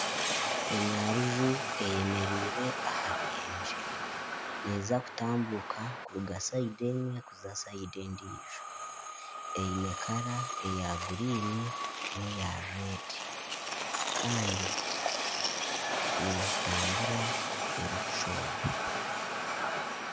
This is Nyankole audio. Enyaruju eyemereire aha ruyenje, neza kutambuuka kuruga saidi emwe kuza saidi endiijo. Eine erangi eya kinyaatsi n'erikutukura. Kandi neetambura erikushooba.